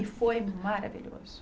E foi maravilhoso.